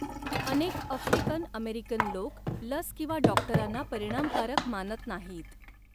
अनेक African American लोक लस किंवा डॉक्टरांना परिमाणकारक मानत नाहीत.